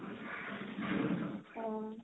অ